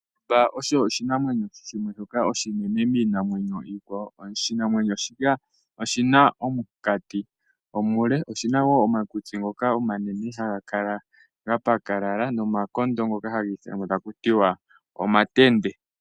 Ondjamba osho oshinamwenyo oshinene niinamwenyo iikwawo. Oshinamwenyo shika oshina omukati omule, oshina woo omakutsi ngoka omanene haga kala gapakalala nomakondo ngoka haga ithanwa omatende.